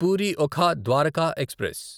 puri Okha Dwarka express